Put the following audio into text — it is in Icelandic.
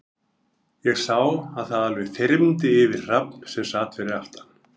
Ég sá að það alveg þyrmdi yfir Hrafn, sem sat fyrir aftan